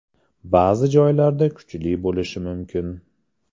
Ba’zi joylarda kuchli bo‘lishi mumkin.